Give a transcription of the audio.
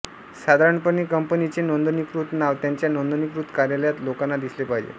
साधारणपणे कंपनीचे नोंदणीकृत नाव त्याच्या नोंदणीकृत कार्यालयात लोकांना दिसले पाहिजे